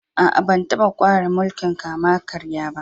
Aa, ban taba kware mulki'n kama-karya ba.